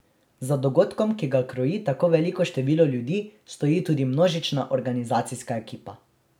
Za dogodkom, ki ga kroji tako veliko število ljudi, stoji tudi množična organizacijska ekipa.